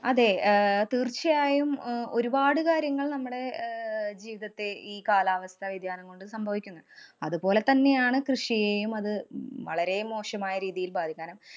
അതേ, അഹ് തീര്‍ച്ചയായും അഹ് ഒരു പാട് കാര്യങ്ങള്‍ നമ്മടെ ആഹ് ജീവിതത്തെ ഈ കാലാവസ്ഥ വ്യതിയാനം കൊണ്ട് സംഭവിക്കുന്നു. അതുപോലെ തന്നെയാണ് കൃഷിയേയും അത് വളരേ മോശമായ രീതിയില്‍ ബാധിക്കാനും